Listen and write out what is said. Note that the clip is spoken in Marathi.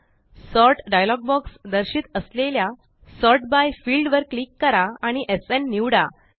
सॉर्ट डायलॉग बॉक्स दर्शित असलेल्या सॉर्ट बाय फील्ड वर क्लिक करा आणि एसएन निवडा